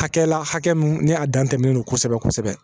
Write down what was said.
Hakɛ la hakɛ min ni a dan tɛmɛnen don kosɛbɛ kosɛbɛ